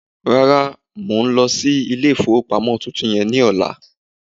Rárá, mi ò lọ sí ilé ìfowópamọ́ tuntun yẹ ní ọla